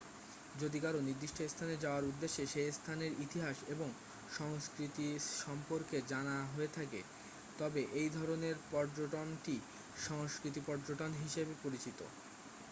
যদি কারও নির্দিষ্ট স্থানে যাওয়ার উদ্দেশ্য সেই স্থানের ইতিহাস এবং সংস্কৃতি সম্পর্কে জানার হয়ে থাকে তবে এই ধরণের পর্যটনটি সাংস্কৃতিক পর্যটন হিসাবে পরিচিত